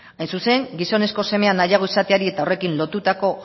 hain zuzen gizonezko semea nahiago izateari eta horrekin lotutako